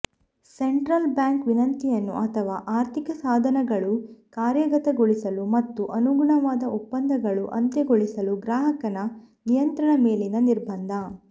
central bank ವಿನಂತಿಯನ್ನು ಅಥವಾ ಆರ್ಥಿಕ ಸಾಧನಗಳು ಕಾರ್ಯಗತಗೊಳಿಸಲು ಮತ್ತು ಅನುಗುಣವಾದ ಒಪ್ಪಂದಗಳು ಅಂತ್ಯಗೊಳಿಸಲು ಗ್ರಾಹಕನ ನಿಯಂತ್ರಣ ಮೇಲಿನ ನಿರ್ಬಂಧ